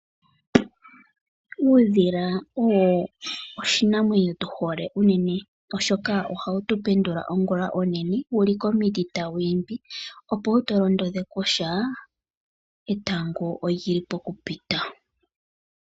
Uudhila owo oshinamwenyo tu hole unene oshoka oha wu tu pendula ongula onene wu li komiti tawu imbi, opo wu tu londodhe kutya etango oli li pokupita.